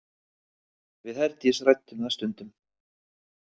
Við Herdís ræddum það stundum.